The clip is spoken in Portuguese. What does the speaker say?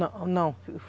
Não, não.